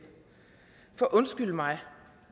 for undskyld mig